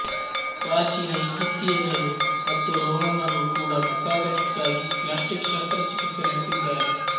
ಪ್ರಾಚೀನ ಈಜಿಪ್ತಿಯನ್ ರು ಮತ್ತು ರೋಮನ್ ರು ಕೂಡಾ ಪ್ರಸಾದನಕ್ಕಾಗಿ ಪ್ಲ್ಯಾಸ್ಟಿಕ್ ಶಸ್ತ್ರ ಚಿಕಿತ್ಸೆ ನಡೆಸಿದ್ದಾರೆ